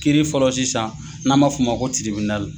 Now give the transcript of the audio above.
Kiiri fɔlɔ sisan n'an m'a f'o ma ko tiribinali.